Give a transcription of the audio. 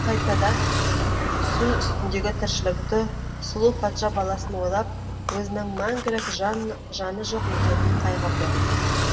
қайтадан су үстіндегі тіршілікті сұлу патша баласын ойлап өзінің мәңгілік жаны жоқ екеніне қайғырды